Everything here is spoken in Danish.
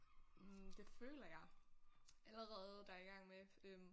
Hm det føler jeg allerede der er i gang med øh